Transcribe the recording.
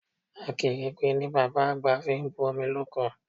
Akèrègbè ni bàbá àgbà fi bu omi loko